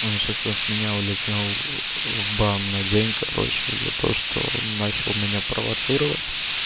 он сейчас от меня улетел в бан на день короче за то что начал меня провоцировать